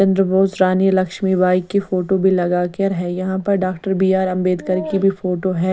चंद्र बोस रानी लक्ष्मी बाई की फोटो भी लगाकर है यहां पर डॉक्टर बी_आर अंबेडकर की भी फोटो है।